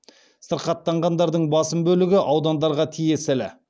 сырқаттанғандардың басым бөлігі аудандарға тиесілі